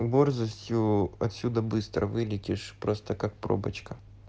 борзостью отсюда быстро вылетишь просто как пробочка